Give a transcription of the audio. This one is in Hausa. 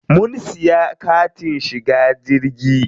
Mun siya katin shiga jirgi.